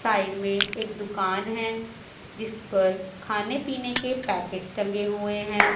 Side में एक दुकान है जिस पर खाने पीने के पैकेट्स टंगे हुए हैं।